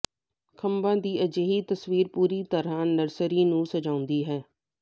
ਖੰਭਾਂ ਦੀ ਅਜਿਹੀ ਤਸਵੀਰ ਪੂਰੀ ਤਰ੍ਹਾਂ ਨਰਸਰੀ ਨੂੰ ਸਜਾਉਂਦੀ ਹੈ